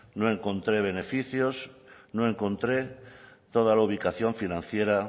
no encontré beneficios no encontré toda la ubicación financiera